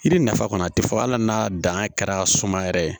Yiri nafa kɔni a tɛ fɔ hali n'a dan kɛra sumaya yɛrɛ ye